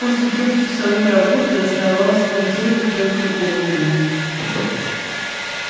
после трёхчасовой работы оставалось смонтировать только голову